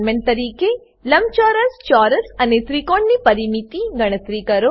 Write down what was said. assignment તરીકે લંબચોરસ ચોરસ અને ત્રિકોણની પરિમિતિ ગણતરી કરો